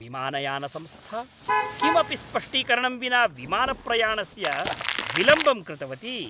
विमानयानसंस्था किमपि स्पष्टीकरणं विना विमानप्रयाणस्य विलम्बं कृतवती।